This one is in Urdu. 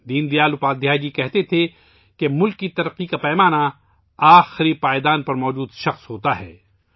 دین دیال اپادھیائے جی کہا کرتے تھے کہ ملک کی ترقی کا پیمانہ آخری پائیدان پر موجود شخص ہوتا ہے